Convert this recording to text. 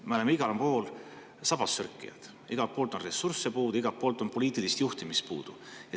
Me oleme igal pool sabassörkijad, igalt poolt on ressursse puudu, igalt poolt on poliitilist juhtimist puudu.